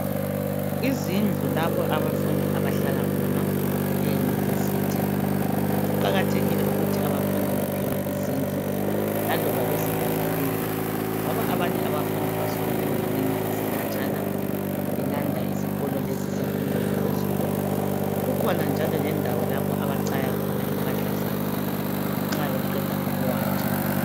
Izindlu lapho abafundi abahlala khona eyunivesithi. Kuqakathekile ukuthi abafundi bephiwe izindlu laloba abafundi bezibhadalela ngoba abanye abafundi basuka endaweni ezikhatshana belanda isikolo lesi semfundo yaphezulu. Kukhona njalo lendawo abachaya khona impahla zabo nxa beqeda ukuwatsha.